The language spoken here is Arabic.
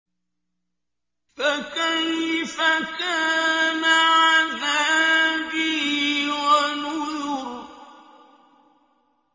فَكَيْفَ كَانَ عَذَابِي وَنُذُرِ